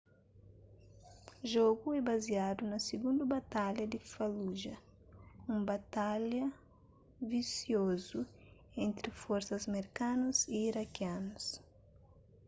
jogu é baziadu na sigundu batalha di fallujah un batalha visiozu entri forsas merkanus y irakianus